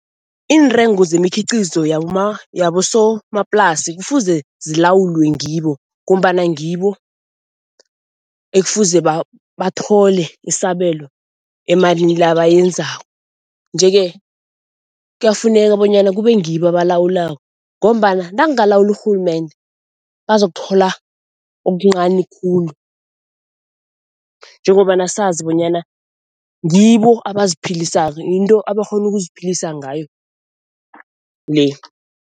Iintengo zemikhiqizo yabosomaplasi kufuze zilawulwe ngibo ngombana ngibo ekufuze bathole isabelo emalini le abayenzako nje-ke kuyafuneka bonyana kube ngibo abalawulako ngombana nakungaluwulwa urhulumende bazakuthola okuncani khulu, njengombana sazi bonyana ngibo abaziphilisako, yinto abakghona ukuziphilisa ngayo le.